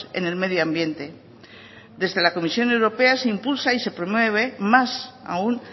en el medio ambiente desde la comisión europea se impulsa y se promueve más aún